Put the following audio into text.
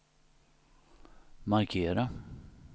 markera